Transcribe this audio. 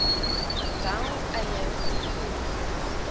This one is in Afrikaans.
wel eie vervoer